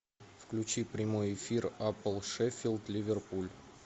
включи прямой эфир апл шеффилд ливерпуль